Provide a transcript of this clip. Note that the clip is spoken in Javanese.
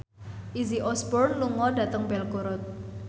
Izzy Osborne lunga dhateng Belgorod